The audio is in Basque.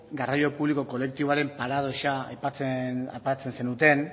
garraio publiko kolektiboaren paradoxa aipatzen zenuten